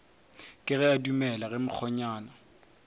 kego a dumele ge mokgonyana